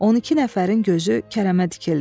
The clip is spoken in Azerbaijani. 12 nəfərin gözü Kərəmə dikildi.